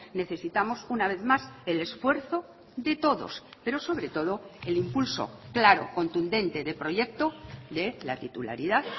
necesitamos una vez más el esfuerzo de todos pero sobre todo el impulso claro contundente de proyecto de la titularidad